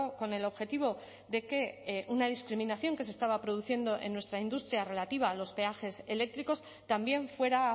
con el objetivo de que una discriminación que se estaba produciendo en nuestra industria relativa a los peajes eléctricos también fuera